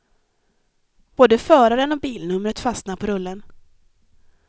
Både föraren och bilnumret fastnar på rullen.